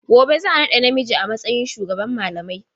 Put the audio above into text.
Gobe za a naɗa namiji a matsayin shugaban malamai.